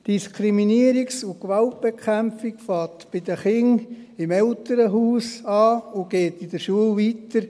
– Diskriminierungs- und Gewaltbekämpfung beginnen bei den Kindern im Elternhaus, und es geht in der Schule weiter.